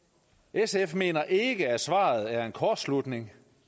sf mener ikke at svaret er en kortslutning